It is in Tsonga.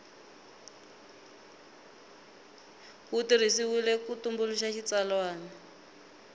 wu tirhisiwile ku tumbuluxa xitsalwana